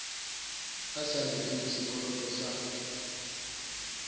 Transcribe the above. a sa lefeng sekoloto sa